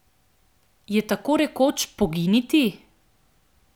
Jo tako rekoč poginiti?